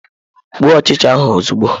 Gbuo ọchịcha ahụ ozugbo!